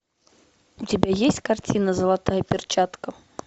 у тебя есть картина золотая перчатка